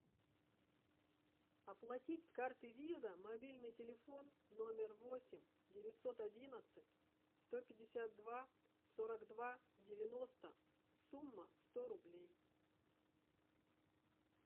оплатить с карты виза мобильный телефон номер восемь девятьсот одиннадцать сто пятьдесят два сорок два девяносто сумма сто рублей